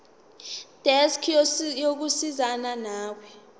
desk yokusizana nawe